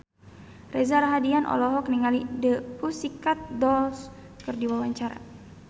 Reza Rahardian olohok ningali The Pussycat Dolls keur diwawancara